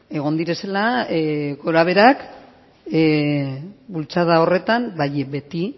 egon direla gorabeherak bultzada horretan bai beti